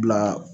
Bila